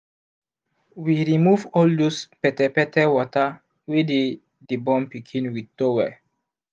we remove all those petepete water wey dey the born pikin with towel